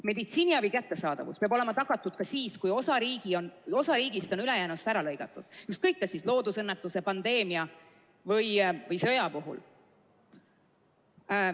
Meditsiiniabi kättesaadavus peab olema tagatud ka siis, kui osa riigist on ülejäänust ära lõigatud – ükskõik kas loodusõnnetuse, pandeemia või sõja korral.